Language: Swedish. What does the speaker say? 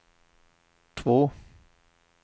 två